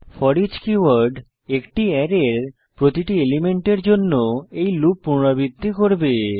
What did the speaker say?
foreach keyword একটি অ্যারের প্রতিটি এলিমেন্টের জন্য এই লুপ পুনরাবৃত্তি করবে